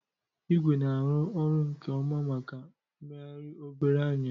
Ịgwe na-arụ ọrụ nke ọma maka mmegharị obere ányà.